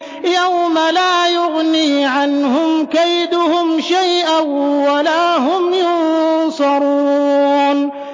يَوْمَ لَا يُغْنِي عَنْهُمْ كَيْدُهُمْ شَيْئًا وَلَا هُمْ يُنصَرُونَ